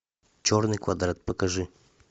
черный квадрат покажи